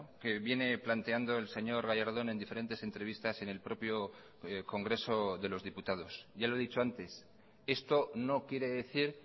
que viene planteando el señor gallardón en diferentes entrevistas en el propio congreso de los diputados ya lo he dicho antes esto no quiere decir